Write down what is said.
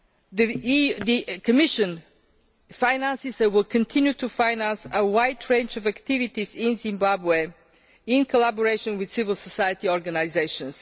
The Commission finances, and will continue to finance, a wide range of activities in Zimbabwe, in collaboration with civil society organisations.